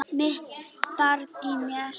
Mitt barn í mér.